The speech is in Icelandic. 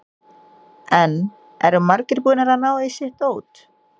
En eru margir búnir að ná í sitt dót?